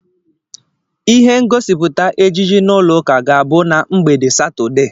Ihe ngosipụta ejije n'ụlọ ụka ga-abụ na mgbede Satọdee.